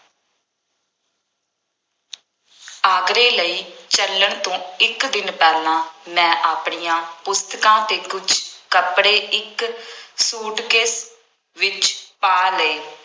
ਆਗਰੇ ਲਈ ਚੱਲਣ ਤੋਂ ਇੱਕ ਦਿਨ ਪਹਿਲਾਂ ਮੈਂ ਆਪਣੀਆਂ ਪੁਸਤਕਾਂ ਅਤੇ ਕੁੱਝ ਕੱਪੜੇ ਇੱਕ ਸੂਟਕੇਸ ਵਿੱਚ ਪਾ ਲਏ।